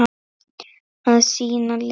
Að sýna lit.